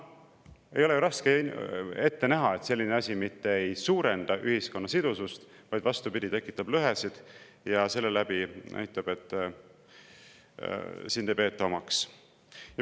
Ei ole ju raske ette näha, et selline asi mitte ei suurenda ühiskonna sidusust, vaid vastupidi, tekitab lõhesid ja näitab, et sind ei peeta omaks.